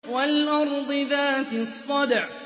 وَالْأَرْضِ ذَاتِ الصَّدْعِ